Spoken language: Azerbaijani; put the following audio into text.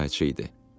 Qayçı idi.